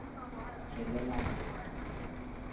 tswelelang